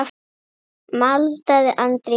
maldaði Andri í móinn.